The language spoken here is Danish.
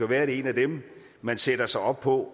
være det er en af dem man sætter sig op på